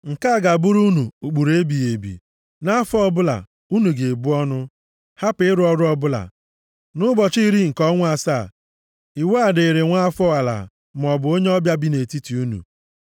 “Nke a ga-abụrụ unu ụkpụrụ ebighị ebi. Nʼafọ ọbụla, unu ga-ebu ọnụ, hapụ ịrụ ọrụ ọbụla, nʼụbọchị iri nke ọnwa asaa. Iwu a dịrị nwa afọ ala maọbụ onye ọbịa bi nʼetiti unu. + 16:29 \+xt Lev 23:27,32; Ọnụ 29:7\+xt*